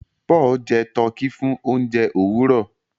Paul jẹ Tọki fún oúnjẹ Òwúrọ